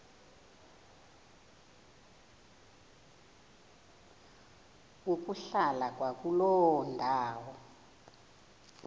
ukuhlala kwakuloo ndawo